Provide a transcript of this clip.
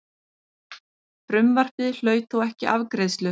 Frumvarpið hlaut þó ekki afgreiðslu.